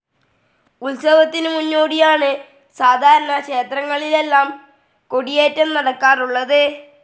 ഉത്സവത്തിന് മുന്നോടിയായാണ് സാധാരണ ക്ഷേത്രങ്ങളിലെല്ലാം കൊടിയേറ്റം നടക്കാറുള്ളത്.